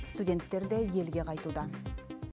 студенттер де елге қайтуда